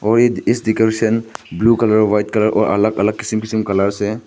और इस decoration blue colour white colour और अलग अलग कीसिम कीसिम कलर से--